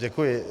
Děkuji.